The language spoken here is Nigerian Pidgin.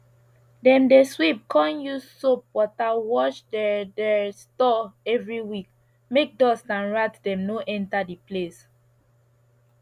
dem dey sweep con use soap water wash dere dere store every week make dust and rat dem no enter the place